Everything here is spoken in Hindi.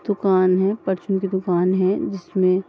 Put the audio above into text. दुकान है परचून की दुकान है जिसमें --